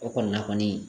O kɔni na kɔni